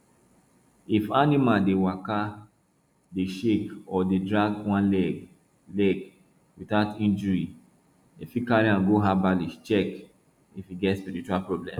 if animal dey waka dey shake or dey drag one leg leg without injury dem fit carry am go herbalist check if e get spiritual problem